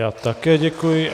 Já také děkuji.